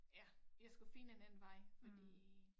Ja jeg skulle finde en anden vej fordi